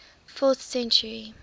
fourth century